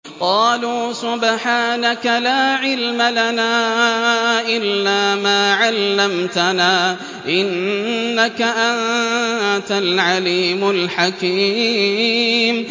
قَالُوا سُبْحَانَكَ لَا عِلْمَ لَنَا إِلَّا مَا عَلَّمْتَنَا ۖ إِنَّكَ أَنتَ الْعَلِيمُ الْحَكِيمُ